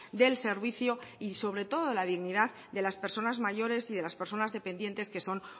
del servicio y sobre todo la dignidad de las personas mayores y de las personas dependientes que son